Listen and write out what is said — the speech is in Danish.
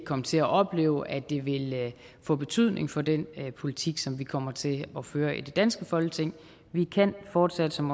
komme til at opleve at det vil få betydning for den politik som vi kommer til at føre i det danske folketing vi kan fortsat som